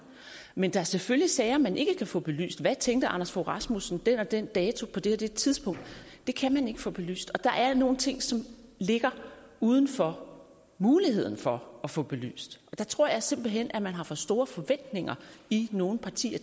men der er selvfølgelig sager man ikke kan få belyst hvad tænkte anders fogh rasmussen den og den dato på det og det tidspunkt det kan man ikke få belyst og der er nogle ting som ligger uden for muligheden for at få dem belyst der tror jeg simpelt hen man har for store forventninger i nogle partier